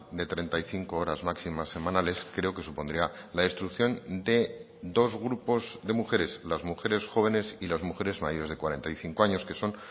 de treinta y cinco horas máximas semanales creo que supondría la destrucción de dos grupos de mujeres las mujeres jóvenes y las mujeres mayores de cuarenta y cinco años que son